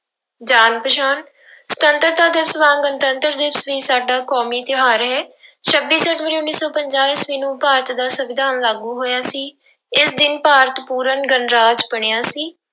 ਜਾਣ ਪਛਾਣ ਸੁਤੰਤਰਤਾ ਦਿਵਸ ਵਾਂਗ ਗਣਤੰਤਰ ਦਿਵਸ ਵੀ ਸਾਡਾ ਕੌਮੀ ਤਿਉਹਾਰ ਹੈ ਛੱਬੀ ਜਨਵਰੀ ਉੱਨੀ ਸੌ ਪੰਜਾਹ ਈਸਵੀ ਨੂੰ ਭਾਰਤ ਦਾ ਸੰਵਿਧਾਨ ਲਾਗੂ ਹੋਇਆ ਸੀ, ਇਸ ਦਿਨ ਭਾਰਤ ਪੂਰਨ ਗਣਰਾਜ ਬਣਿਆ ਸੀ।